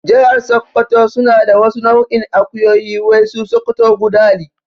Jahar sakkwato suna da wasu nau'in akuyoyi wai su sokoto gudali